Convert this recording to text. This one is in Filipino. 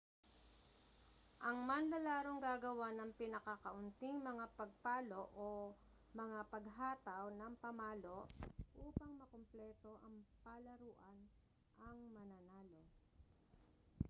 ang manlalarong gagawa ng pinakakaunting mga pagpalo o mga paghataw ng pamalo upang makumpleto ang palaruan ang mananalo